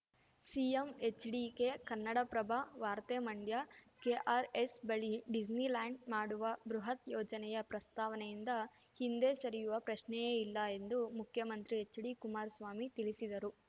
CM HDK Kannadaprabha ವಾರ್ತೆ Mandya KRS ಬಳಿ Disneyland ಮಾಡುವ ಬೃಹತ್‌ ಯೋಜನೆಯ ಪ್ರಸ್ತಾವನೆಯಿಂದ ಹಿಂದೆ ಸರಿಯುವ ಪ್ರಶ್ನೆಯೇ ಇಲ್ಲ ಎಂದು ಮುಖ್ಯಮಂತ್ರಿ ಎಚ್‌ಡಿಕುಮಾರ್ ಸ್ವಾಮಿ ತಿಳಿಸಿದರು